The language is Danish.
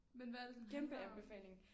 Men hvad er det den handler om?